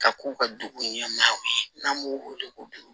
Ka k'u ka dugu ɲɛmaaw ye n'an b'o wele ko